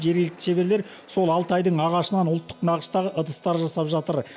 жергілікті шеберлер сол алтайдың ағашынан ұлттық нақыштағы ыдыстар жасап жатыр